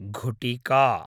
घुटिका